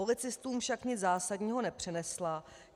Policistům však nic zásadního nepřinesla.